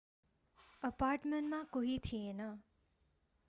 अपार्टमेन्टमा कोही थिएन